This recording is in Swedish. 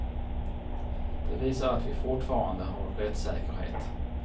Det visar att vi fortfarande har rättssäkerhet.